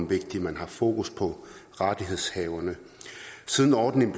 vigtigt at man har fokus på rettighedshaverne siden ordningen